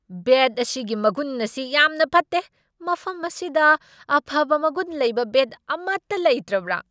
ꯕꯦꯠ ꯑꯁꯤꯒꯤ ꯃꯒꯨꯟ ꯑꯁꯤ ꯌꯥꯝꯅ ꯐꯠꯇꯦ꯫ ꯃꯐꯝ ꯑꯁꯤꯗ ꯑꯐꯕ ꯃꯒꯨꯟ ꯂꯩꯕ ꯕꯦꯠ ꯑꯃꯠꯇ ꯂꯩꯇ꯭ꯔꯕ꯭ꯔꯥ?